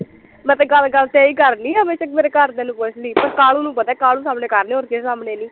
ਮੈਂ ਤਾਂ ਗੱਲ ਗੱਲ ਤੇ ਏ ਈ ਕਰਣੀ ਆ ਬੇਸ਼ੱਕ ਮੇਰੇ ਘਰਦਿਆ ਨੂੰ ਪੁੱਛਲੀ ਤੇ ਕਾਲੂ ਨੂੰ ਪਤਾ ਕਾਲੂ ਸਾਹਮਣੇ ਕਰਦੀ ਹੋਰ ਕਿਸੇ ਸਾਮਣੇ ਨੀ